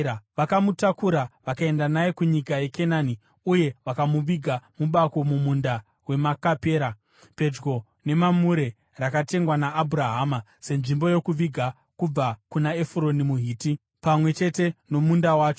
Vakamutakura vakaenda naye kunyika yeKenani uye vakamuviga mubako mumunda weMakapera, pedyo neMamure, rakatengwa naAbhurahama senzvimbo yokuviga kubva kuna Efuroni muHiti, pamwe chete nomunda wacho.